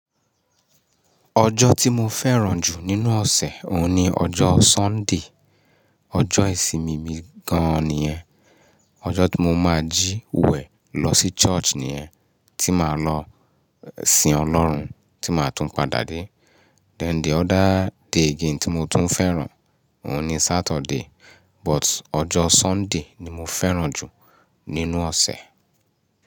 Ọjọ́ tí mo fẹ́ràn jù nínú ọ̀sẹ̀, òhun ni ọjọ́ Sunday. Ọjọ́ ìsinmi mi gan-an nìyẹn. Ọjọ́ tí mo máa jí, wẹ̀ lọ sí church nìyẹn, tí màá lọ sìn Ọlọ́run, tí màá tún padà dé. Then the other day again tí mo tún fẹ́ràn, òhun ni Saturday. But ọjọ́ Sunday ni mo fẹ́ràn jù nínú ọ̀sẹ̀.